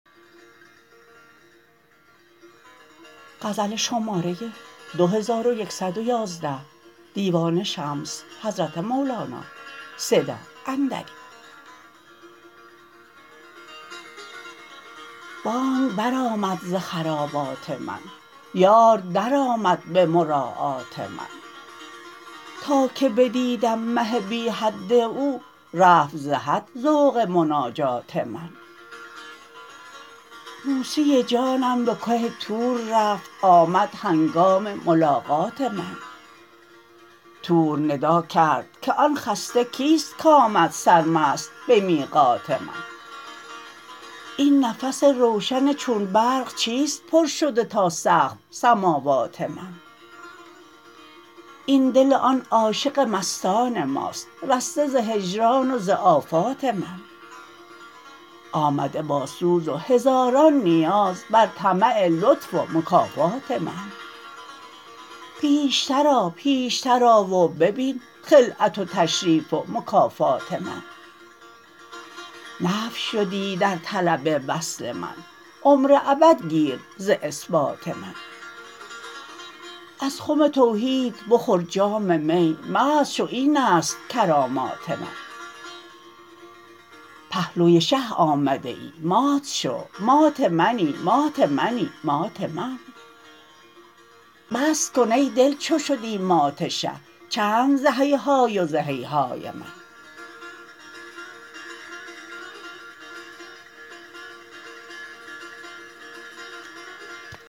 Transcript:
بانگ برآمد ز خرابات من یار درآمد به مراعات من تا که بدیدم مه بی حد او رفت ز حد ذوق مناجات من موسی جانم به که طور رفت آمد هنگام ملاقات من طور ندا کرد که آن خسته کیست کآمد سرمست به میقات من این نفس روشن چون برق چیست پر شده تا سقف سماوات من این دل آن عاشق مستان ماست رسته ز هجران و ز آفات من آمده با سوز و هزاران نیاز بر طمع لطف و مکافات من پیشتر آ پیشتر آ و ببین خلعت و تشریف و مکافات من نفی شدی در طلب وصل من عمر ابد گیر ز اثبات من از خم توحید بخور جام می مست شو این است کرامات من پهلوی شه آمده ای مات شو مات منی مات منی مات من بس کن ای دل چو شدی مات شه چند ز هیهای و ز هیهات من